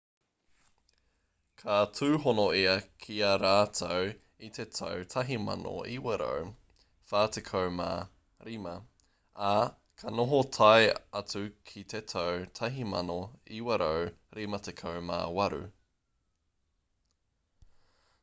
ka tūhono ia ki a rātou i te tau 1945 ā ka noho tae atu ki te tau 1958